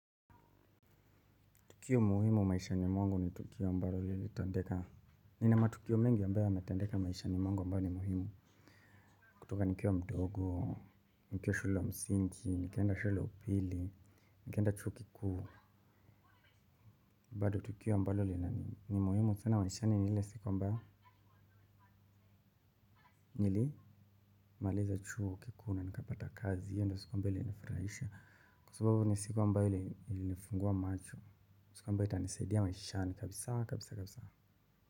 Tukio muhimu maisha ni mwangu ni tukio ambalo lilitendeka. Nina matukio mengi ambayo yanatendeka maishani mwangu ambayo ni muhimu. Kutoka nikiwa mdogo, nikiwa shule wa msingi, nikaenda shule ya upili, nikaenda chuo kikuu. Bado tukio ambalo linani ni muhimu sana maishani ni ile siku ambayo nili maliza chuo kikuu na nikapata kazi hiyo ndo siku ambayo ilifurahisha. Kwa sababu ni siku ambayo ilifungua macho, siku ambayo itanisaidia maishani kabisa kabisa kabisa.